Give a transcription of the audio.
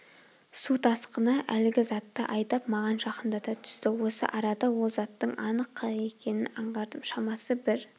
су тасқыны әлгі затты айдап маған жақындата түсті осы арада ол заттың анық қайық екенін аңғардым шамасы бір